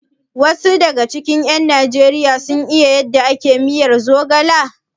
Wasu daga cikin ƴan Najeriya sun san yadda ake miyar zogala?